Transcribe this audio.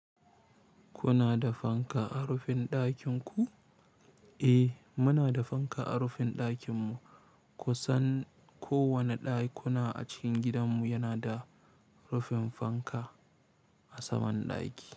Kuna da fanka a rufin ɗakin ku? Eh, muna da fanka a rufin ɗakin mu. Kusan kowane ɗakuna a cikin gidan mu yana da rufin fanka a saman ɗaki.